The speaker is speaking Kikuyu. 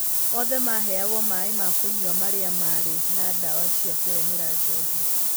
Othe maaheagwo maĩ ma kũnyua marĩa maarĩ na ndawa cia kũrehera njohi.